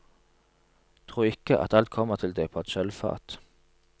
Tro ikke, at alt kommer til deg på et sølvfat.